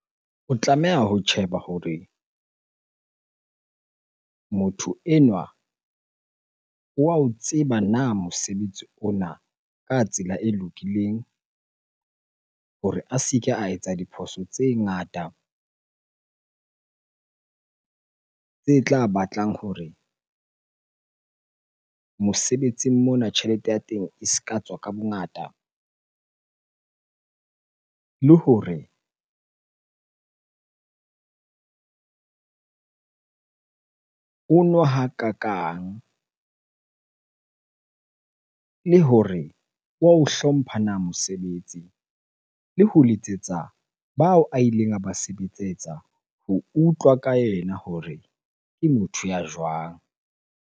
O tlameha ho tjheba hore motho enwa wa o tseba na mosebetsi ona ka tsela e lokileng hore a se ke a etsa diphoso tse ngata tse tla batlang hore mosebetsing mona tjhelete ya teng e se ka tswa ka bongata? Le hore ono hakakang le hore wa o hlompha na mosebetsi? Le ho letsetsa bao a ileng a ba ho utlwa ka ena hore ke motho ya jwang?